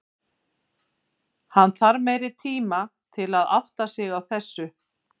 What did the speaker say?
Hann þarf meiri tima til að átta sig á þessu.